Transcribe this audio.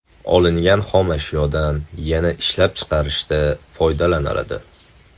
Olingan xomashyodan yana ishlab chiqarishda foydalaniladi.